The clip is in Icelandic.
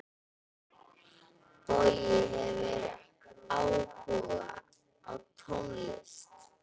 Bogi hefur áhuga á tónlist.